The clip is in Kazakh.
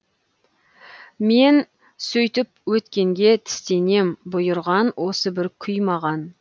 мен сөйтіп өткенге тістенем бұйырған осы бір күй маған